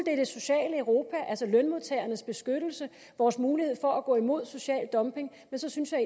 er det sociale europa altså lønmodtagernes beskyttelse og vores mulighed for at gå imod social dumping men så synes jeg